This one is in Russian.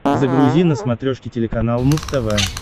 загрузи на смотрешке телеканал муз тв